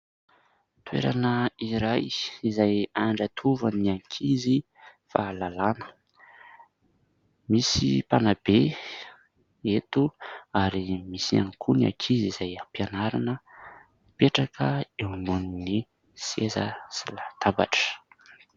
Toerana iray izay andratovan'ny ankizy fahalalana. Misy mpanabe eto ary misy ihany koa ny ankizy izay ampianarina, mipetraka eo ambony seza sy latabatra.